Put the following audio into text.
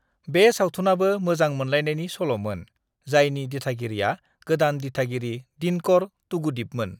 "बे सावथुनाबो मोजां मोनलायनायनि सल'मोन, जायनि दिथागिरिआ गोदान दिथागिरि दिनकर तूगुदीपमोन।"